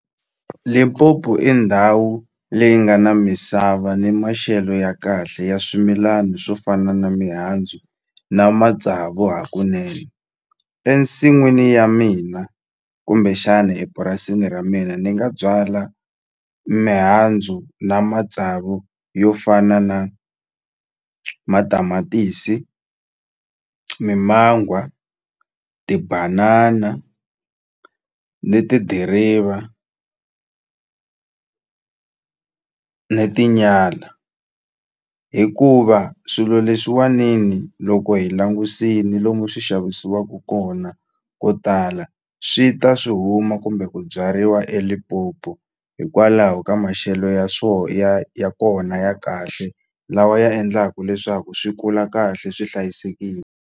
Limpopo i ndhawu leyi nga na misava ni maxelo ya kahle ya swimilana swo fana na mihandzu na matsavu hakunene ensin'wini ya mina kumbexani epurasini ra mina ni nga byala mihandzu na matsavu yo fana na matamatisi, mimangwa, tibanana ni tidiriva ni tinyala hikuva swilo leswiwani ni loko hi langusini lomu swi xavisiwaku kona ko tala swi ta swi huma kumbe ku byariwa eLimpopo hikwalaho ka maxelo ya ya ya kona ya kahle lawa ya endlaku leswaku swi kula kahle swi hlayisekini.